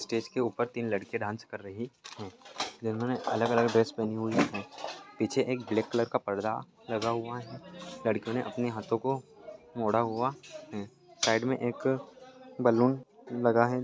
Stage के ऊपर तीन लड़कियाँ डांस कर रही हैं जिन्होंने अलग अलग ड्रेस पहनी हुई हैं पीछे एक ब्लैक कलर का पर्दा लगा हुआ है लड़कियों ने अपने हाथों को मोड़ा हुआ है साइड मे एक बलून लगा है।